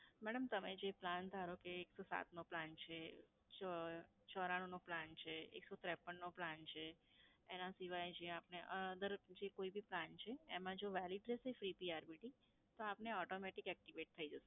madam તમે જે plan એક જતો ધારો કે એકસો સાત નો plan છે, ચ ચોરાણુંનો plan છે, એકસો ત્રેપ્પનનો plan છે. એના સિવાય જે આપને અધર જે કોઈ બી plan છે એમાં જો valid રહેશે free P R B T, તો આપને automatic activate થઈ જશે.